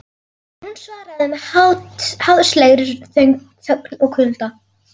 En hún svaraði með háðslegri þögn og kulda.